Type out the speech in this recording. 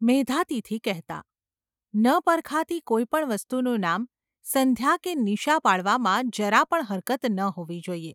’ મેધાતિથિ કહેતા. ન પરખાતી કોઈ પણ વસ્તુનું નામ સંધ્યા કે નિશા પાડવામાં જરા પણ હરકત ન હોવી જોઈએ !